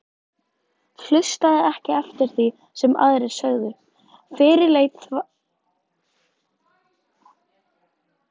Hlustaði ekki eftir því sem aðrir sögðu, fyrirleit þvaður, slefbera.